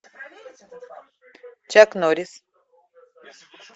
чак норрис